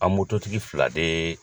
An tigi fila de